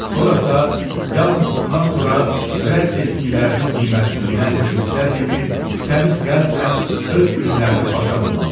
Sonra isə yalnız bundan sonra rədd etdiklərinin qiymətini bilən müdriklər kimi təmiz qəlblə öz günlərini başa vurmalısan.